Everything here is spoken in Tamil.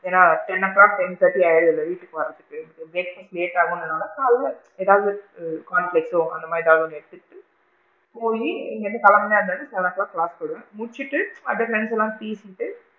ஏன்னா? ten o clock ten thirty ஆயிடுது room க்கு வரதுக்கு late ஆகும் அப்படின்றனால ஏதாவது corn flakes சோ அந்த மாதிரி போயி இங்க இருந்து கிளம்புனா seven o clock class போயிடுவேன் முடிச்சிட்டு அத பத்திலா பேசிட்டு,